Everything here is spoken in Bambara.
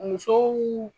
Musow